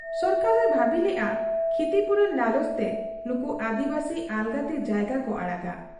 ᱥᱚᱨᱠᱟᱨ ᱮ ᱵᱷᱟᱹᱵᱤ ᱞᱮᱜ ᱟ ᱠᱷᱤᱛᱤᱯᱩᱨᱚᱱ ᱞᱟᱞᱚᱪ ᱛᱮ ᱱᱩᱠᱩ ᱟᱹᱫᱤᱵᱟᱹᱥᱤ ᱟᱞᱜᱟᱛᱮ ᱡᱟᱭᱜᱟ ᱠᱚ ᱟᱲᱟᱜᱟ ᱾